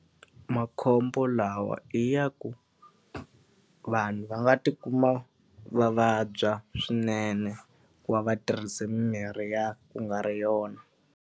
Makhombo lawa i ya ku, vanhu va nga tikuma va vabya swinene ku va va tirhise mimirhi ya ku nga ri yona.